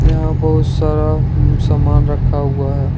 यहाँ बहुत सारा समान रखा हुआ है।